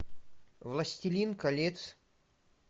властелин колец